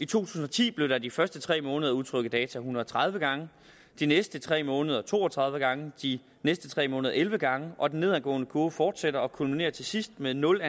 tusind og ti blev der de første tre måneder udtrukket data en hundrede og tredive gange de næste tre måneder to og tredive gange de næste tre måneder elleve gange og den nedadgående kurve fortsætter og kulminerer til sidst med nul